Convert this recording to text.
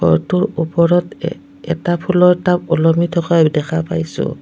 ঘৰটোৰ ওপৰত এটা ফুলৰ টাব ওলমি থকা দেখা পাইছোঁ।